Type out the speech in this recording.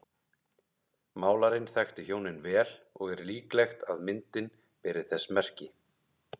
Málarinn þekkti hjónin vel og er líklegt að myndin beri þess merki.